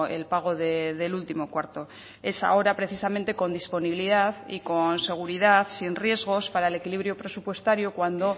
el pago del último cuarto es ahora precisamente con disponibilidad y con seguridad sin riesgos para el equilibrio presupuestario cuando